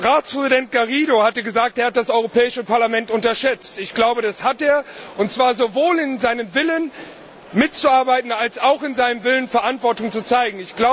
Ratspräsident Garrido hat gesagt, er hätte das Europäische Parlament unterschätzt. Ich glaube, das hat er, und zwar sowohl in seinem Willen, mitzuarbeiten, als auch in seinem Willen, Verantwortung zu zeigen.